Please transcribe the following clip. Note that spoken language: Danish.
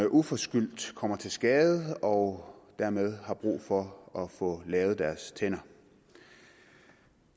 uforskyldt kommer til skade og dermed får brug for at få lavet deres tænder